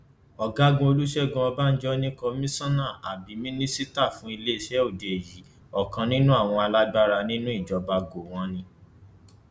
adájọ ti padà fún un ní bẹẹlí bẹẹ ló ní kó san ẹgbẹrún lọnà ọgọrùnún náírà àti onídùúró kan